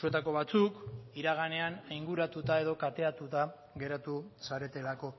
zuetako batzuk iraganean ainguratuta edo kateatuta geratu zaretelako